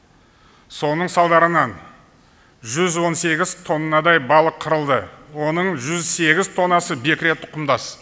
соның салдарынан жүз он сегіз тоннадай балық қырылды оның жүз сегіз тоннасы бекіре тұқымдас